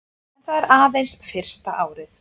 En það er aðeins fyrsta árið